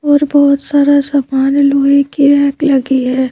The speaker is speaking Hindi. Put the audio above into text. और बहुत सारा सवाल लोहे की रैक लगी है।